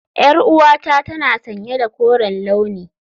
Yar'uwata tana sanye da koren launi.